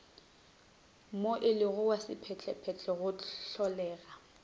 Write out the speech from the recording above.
moelelo wa sephethephethe go hlolega